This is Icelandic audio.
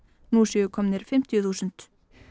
nú séu komnir fimmtíu þúsund